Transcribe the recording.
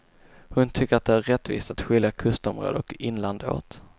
Hon tycker att det är rättvist att skilja kustområde och inland åt.